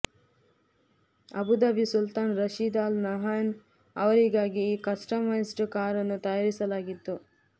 Abu Dhabi Sultan Rashid Al Nahyan ಅವರಿಗಾಗಿ ಈ customised ಕಾರನ್ನು ತಯಾರಿಸಲಾಗಿತ್ತು